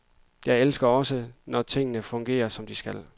Jeg elsker også, når tingene fungerer, som de skal.